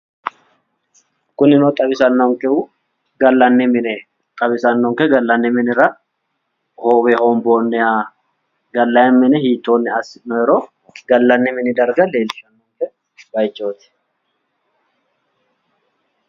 Kunino xawisannonkehu gallanni mineeti, xawisannonke gallanni minira hoowe hoombonniha gallayi mine hiittoonni assinooyiiro gallanni mini darga leellishshanno baayichooti.